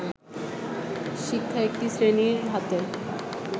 শিক্ষা একটি শ্রেণীর হাতে